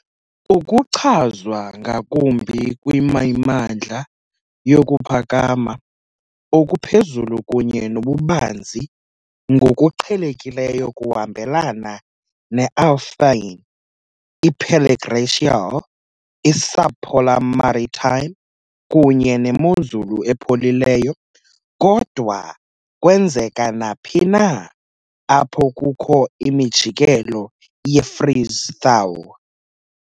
Ukuchazwa ngakumbi kwimimandla yokuphakama okuphezulu kunye nobubanzi, ngokuqhelekileyo kuhambelana ne-alphine, i-periglacial, i-subpolar maritime, kunye nemozulu epholileyo, kodwa kwenzeka naphi na apho kukho imijikelo ye-freeze-thaw.